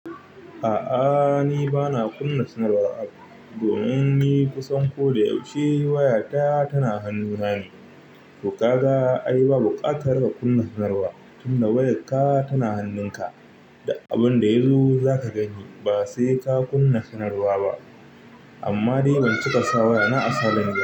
A'a ni bana kunna sanarwa domin ni kusan ko da yaushe wayata tana hannun hannu ne. To ka ga ai ba buƙatar in kunna sanarwa tunda wayarka tana hannunka. Duk abin da yazo za ka gani ba sai ka kunna sanarwa ba. Amma dai ban cika sa wayana a silent ba.